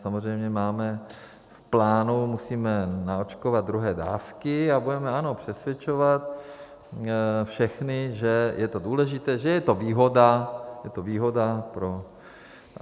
Samozřejmě máme v plánu, musíme naočkovat druhé dávky a budeme, ano, přesvědčovat všechny, že je to důležité, že je to výhoda - je to výhoda pro...